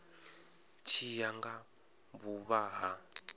tshi ya nga vhuvha ha